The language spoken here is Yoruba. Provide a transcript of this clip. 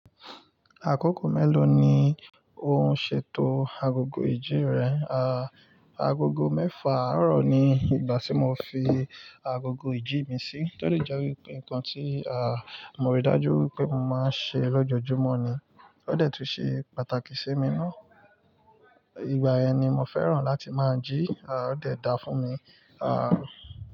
Àkókò mélòó ni ò ṣètò agogo ìjí rẹ? Agogo mẹ́fà àárọ̀ ni ìgbà tí mo fi agogo ìjí mi sí, tó dẹ jẹ́ wípé nǹkan tí a, mo rí dájú wípé mo máa ń ṣe lọ́jọ́júmọ́ ni. Ó dẹ̀ tun ṣe pàtàkì sí mi ná. Ìgbà yẹn ni mo fẹ́ràn láti máa jí, ó dẹ̀ dá fún mi.